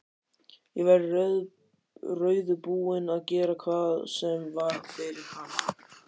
Ég væri reiðubúin að gera hvað sem var fyrir hann.